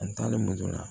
An taalen moto la